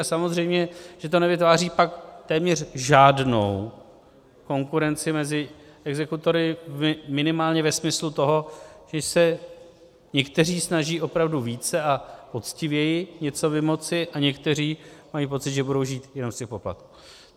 A samozřejmě že to nevytváří pak téměř žádnou konkurenci mezi exekutory minimálně ve smyslu toho, že se někteří snaží opravdu více a poctivěji něco vymoci a někteří mají pocit, že budou žít jenom z těch poplatků.